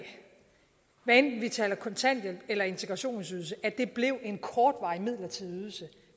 hvad enten vi taler kontanthjælp eller integrationsydelse at det blev en kortvarig midlertidig ydelse